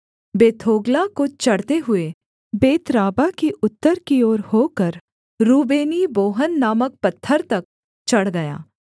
बेथोग्ला को चढ़ते हुए बेतराबा की उत्तर की ओर होकर रूबेनी बोहन नामक पत्थर तक चढ़ गया